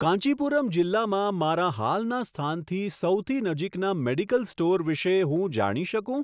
કાંચીપુરમ જિલ્લામાં મારા હાલના સ્થાનથી સૌથી નજીકના મેડિકલ સ્ટોર વિશે હું જાણી શકું?